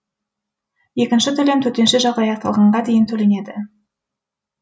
екінші төлем төтенше жағдай аяқталғанға дейін төленеді